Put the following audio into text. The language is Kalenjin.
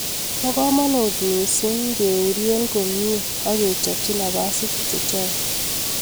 Bo kamonut missing keurie komie sk kechopchi napasit chechok.